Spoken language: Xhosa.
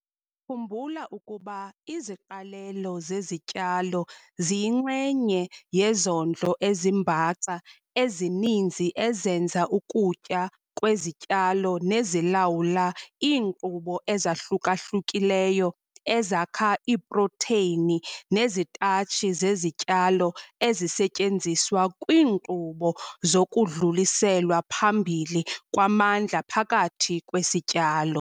Khumbula ukuba iziqalelo zezityalo ziyinxenye yezondlo ezimbaxa ezininzi ezenza ukutya kwezityalo nezilawula iinkqubo ezahluka-hlukileyo ezakha iiprotheyini nezitatshi zezityalo ezisetyenziswa kwiinkqubo zokudluliselwa phambili kwamandla phakathi kwesityalo.